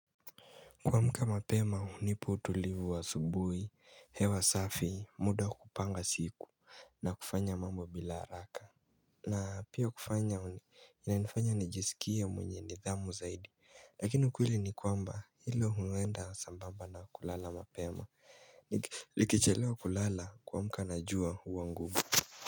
Kuamka mapema hunipa utulivu wa asubuhi, hewa safi muda kupanga siku na kufanya mambo bila haraka na pia kufanya ina nifanya nijisikie mwenye nidhamu zaidi Lakini ukweli ni kwamba hilo huenda sambamba na kulala mapema Nikichelewa kulala kuamka najua uwa ngumu.